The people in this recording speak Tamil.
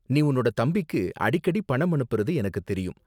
நீ உன்னோட தம்பிக்கு அடிக்கடி பணம் அனுப்புறது எனக்கு தெரியும்.